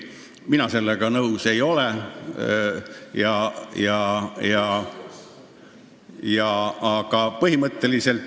Mina sellega nõus ei ole.